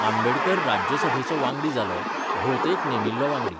आंबेडकर राज्यसभेचो वांगडी जालो, भोवतेक नेमिल्लो वांगडी.